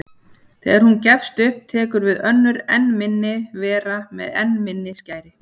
Þegar hún gefst upp tekur við önnur enn minni vera með enn minni skæri.